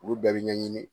Olu bɛɛ bɛ ɲɛɲini